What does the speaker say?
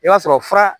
I b'a sɔrɔ fura